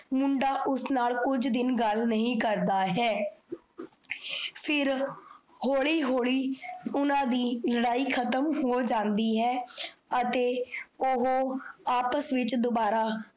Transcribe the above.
ਮੁੰਡਾ ਉਸ ਨਾਲ ਕੁਝ ਦਿਨ ਗੱਲ ਨਹੀਂ ਕਰਦਾ ਹੈ। ਫਿਰ ਹੋਲੀ ਹੋਲੀ ਓਹਨਾਂ ਦੀ ਲੜਾਈ ਖਤਮ ਹੋ ਜਾਂਦੀ ਹੈ। ਅਤੇ ਓਹੋ ਆਪਸ ਵਿੱਚ ਦੋਬਾਰਾ